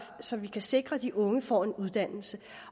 så vi kan sikre at de unge får en uddannelse